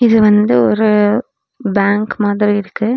இது வந்து ஒரு பேங்க்கு மாதிரி இருக்கு.